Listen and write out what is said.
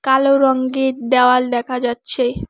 কালো রঙ্গের দেওয়াল দেখা যাচ্ছে।